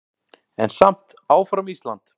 En samt áfram Ísland!